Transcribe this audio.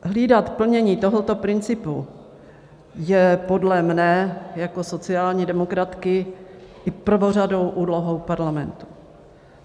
Hlídat plnění tohoto principu je podle mě jako sociální demokratky i prvořadou úlohou parlamentu.